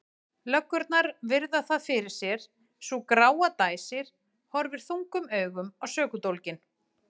Löggurnar virða það fyrir sér, sú gráa dæsir og horfir þungum augum á sökudólginn.